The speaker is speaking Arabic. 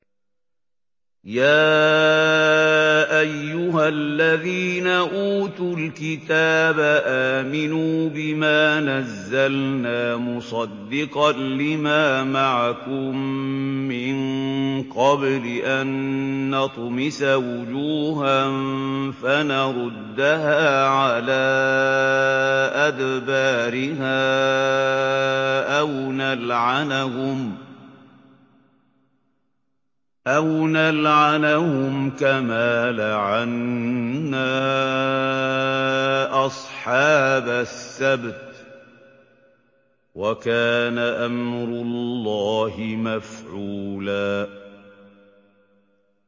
يَا أَيُّهَا الَّذِينَ أُوتُوا الْكِتَابَ آمِنُوا بِمَا نَزَّلْنَا مُصَدِّقًا لِّمَا مَعَكُم مِّن قَبْلِ أَن نَّطْمِسَ وُجُوهًا فَنَرُدَّهَا عَلَىٰ أَدْبَارِهَا أَوْ نَلْعَنَهُمْ كَمَا لَعَنَّا أَصْحَابَ السَّبْتِ ۚ وَكَانَ أَمْرُ اللَّهِ مَفْعُولًا